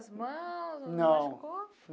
As mãos, não machucou? Não.